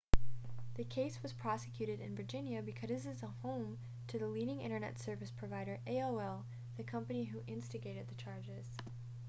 the case was prosecuted in virginia because it is the home to the leading internet service provider aol the company who instigated the charges